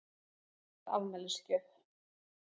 Vaskur var afmælisgjöf.